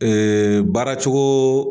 baaracogo